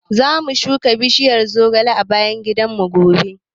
Zamu shuka bishiyar zogale a bayan gidanmu gobe.